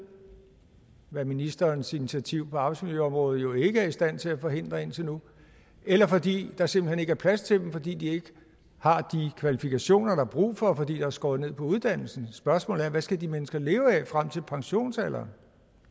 hvad ministerens initiativ på arbejdsmiljøområdet jo ikke har været i stand til at forhindre indtil nu eller fordi der simpelt hen ikke er plads til dem fordi de ikke har de kvalifikationer der er brug for fordi der er skåret ned på uddannelse spørgsmålet er hvad skal de menneskelige leve af frem til pensionsalderen